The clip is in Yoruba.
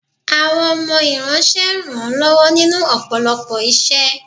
Àwọn ọmọ iranṣé ń ran lọwọ ninu ọpọlọpọ iṣẹ